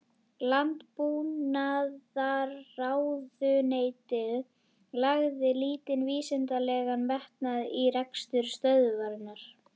Landbúnaðarráðuneytið lagði lítinn vísindalegan metnað í rekstur stöðvarinnar.